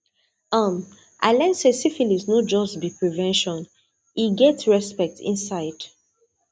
um i learn say syphilis no just be prevention e get respect inside